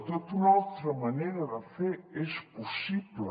tota una altra manera de fer és possible